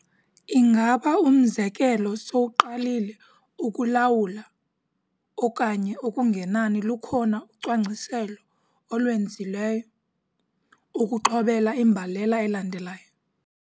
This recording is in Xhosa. Ingaba, umzekelo, sowuqalile ukulawula, okanye okungenani lukhona ucwangciselo olwenzileyo, ukuxhobela imbalela elandelayo?